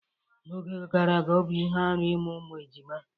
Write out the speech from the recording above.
N'oge gara aga, ọ bụ ihe arụ ịmụ ụmụejima.